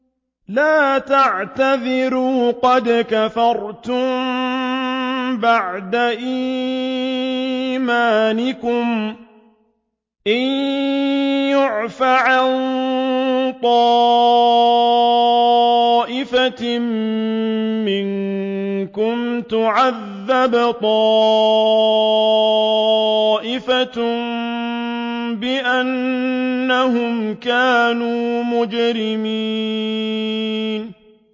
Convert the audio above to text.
لَا تَعْتَذِرُوا قَدْ كَفَرْتُم بَعْدَ إِيمَانِكُمْ ۚ إِن نَّعْفُ عَن طَائِفَةٍ مِّنكُمْ نُعَذِّبْ طَائِفَةً بِأَنَّهُمْ كَانُوا مُجْرِمِينَ